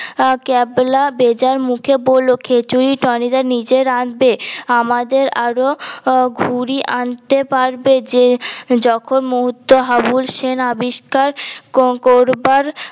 ক্যাবলা বেজাই মুখে বলল খিচুরি টনি দা নিজে রাঁধবে আমাদের আরও হম ঘুরি আনতে পারবে যে যখন মুহূর্ত হাবুল সেনা আবিস্কার করবার